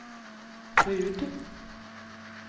Rud